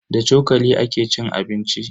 Da cokali ake cin abinci.